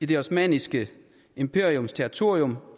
det ottomanske imperiums territorium